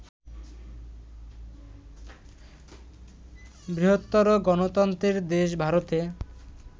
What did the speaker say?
বৃহত্তর গণতন্ত্রের দেশ ভারতে